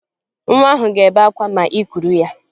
Nwa ahụ ga-ebe akwa ma ị kuru ya